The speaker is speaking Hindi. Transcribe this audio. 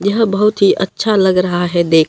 यह बहोत ही अच्छा लग रहा है देख--